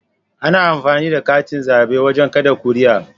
Ana amfani da katin zabe wajen kada kuri'a